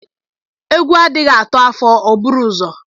Egwu adịghị atụ afọ o bụrụ uzọ.